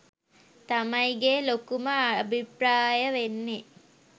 තමයිගේ ලොකුම අභිප්‍රාය වෙන්නේ